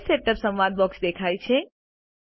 page setup સંવાદ box દેખાય છે